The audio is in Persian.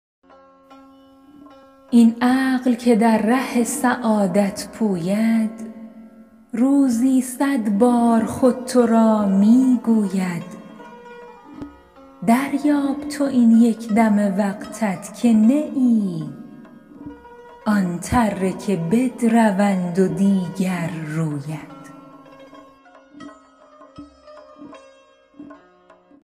این عقل که در ره سعادت پوید روزی صد بار خود تو را می گوید دریاب تو این یک دم وقتت که نه ای آن تره که بدروند و دیگر روید